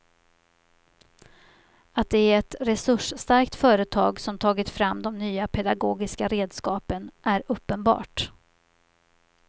Att det är ett resursstarkt företag som tagit fram de nya pedagogiska redskapen är uppenbart.